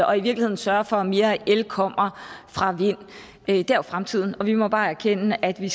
og i virkeligheden sørge for at mere el kommer fra vind det er jo fremtiden og vi må bare erkende at vi